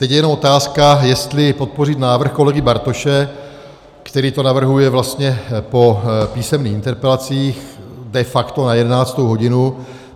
Teď je jenom otázka, jestli podpořit návrh kolegy Bartoše, který to navrhuje vlastně po písemných interpelacích, de facto na 11. hodinu.